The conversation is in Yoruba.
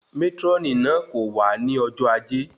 Mátrónì náà kò wá ní ọjọ ajé